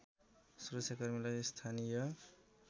सुरक्षाकर्मीलाई स्थानीय